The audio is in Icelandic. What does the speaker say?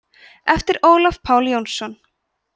eftir ólaf pál jónsson